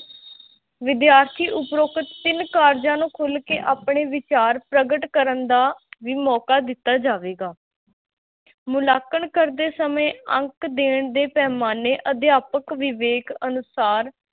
ਵਿਦਿਆਰਥੀ ਉਪਰੋਕਤ ਤਿੰਨ ਕਾਰਜਾਂ ਨੂੰ ਖੁੱਲ ਕੇ ਆਪਣੇ ਵਿਚਾਰ ਪ੍ਰਗਟ ਕਰਨ ਦਾ ਵੀ ਮੌਕਾ ਦਿੱਤਾ ਜਾਵੇਗਾ ਮੁਲਾਂਕਣ ਕਰਦੇ ਸਮੇਂ ਅੰਕ ਦੇਣ ਦੇ ਪੈਮਾਨੇ ਅਧਿਆਪਕ ਵਿਵੇਕ ਅਨੁਸਾਰ